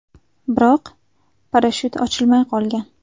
Biroq parashyut ochilmay qolgan.